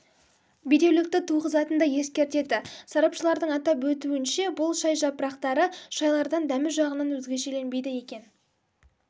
бедеулікті туғызатынын да ескертеді сарапшылардың атап өтуінше бұл шай жапырақты шайлардан дәмі жағынан өзгешеленбейді екен